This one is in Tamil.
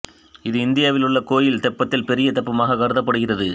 இது இந்தியாவில் உள்ள கோயில் தெப்பத்தில் பெரிய தெப்பமாகக் கருதப்படுகிறது